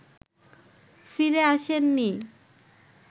ফিরে আসেননি